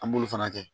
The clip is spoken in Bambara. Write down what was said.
An b'olu fana kɛ